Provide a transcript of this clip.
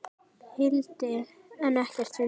hildi en ekkert fundið.